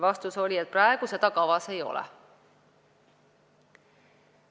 Vastus oli, et praegu seda kavas ei ole.